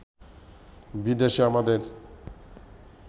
বিদেশে আমাদের